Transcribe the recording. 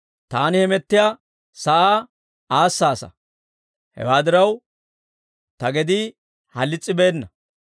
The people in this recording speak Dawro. Taani hamettiyaa sa'aa aassaasa; hewaa diraw, ta gedii halis's'ibeena.